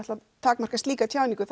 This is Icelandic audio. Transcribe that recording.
takmarka slíka tjáningu